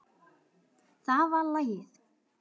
Það var lagið.